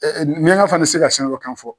miɲanka fana be se ka senafɔkan fɔ.